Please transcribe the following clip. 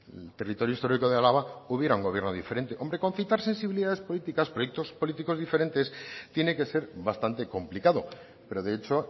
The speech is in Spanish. el territorio histórico de álava hubiera un gobierno diferente hombre concitar sensibilidades políticas proyectos políticos diferentes tiene que ser bastante complicado pero de hecho